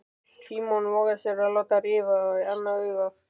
Símon vogaði sér að láta rifa í annað augað.